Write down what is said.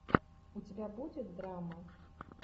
у тебя будет драма